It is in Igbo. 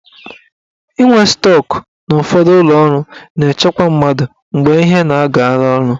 Inwe stọk na ụfọdụ ụlọọrụ na-echekwa mmadụ mgbe ihe na-agala ọnụ.